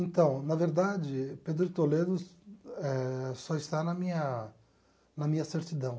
Então, na verdade, Pedro de Toledo eh só está na minha na minha certidão.